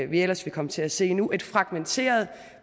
vi ellers vil komme til at se nu nemlig en fragmenteret